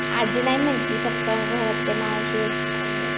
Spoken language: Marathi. आज्जी नाही म्हणती फक्त ते घरात चालू आहे.